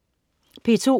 P2: